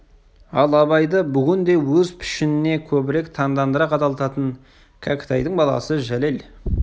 ал абайды бүгін де өз пішініне көбірек таңдандыра қадалтатын кәкітайдың баласы жәлел